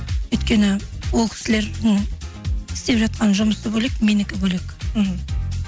өйткені ол кісілердің істеп жатқан жұмысы бөлек менікі бөлек мхм